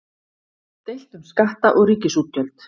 Deilt um skatta og ríkisútgjöld